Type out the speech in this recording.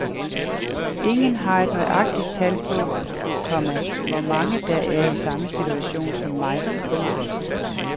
Ingen har et nøjagtigt tal på, komma hvor mange der er i samme situation som mig. punktum